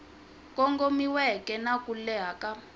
kongomiweke na ku leha ka